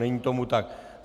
Není tomu tak.